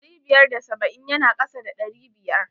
Ɗari biyar da saba'in ya na kasa da ɗari biyar.